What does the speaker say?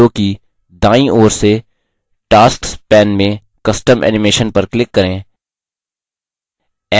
impress window की दायीं ओर से tasks pane में custom animation पर click करें